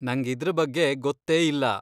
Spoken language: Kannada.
ನಂಗ್ ಇದ್ರ ಬಗ್ಗೆ ಗೊತ್ತೇ ಇಲ್ಲ.